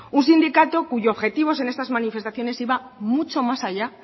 un sindicato cuyo objetivo en estas manifestaciones iba mucho más allá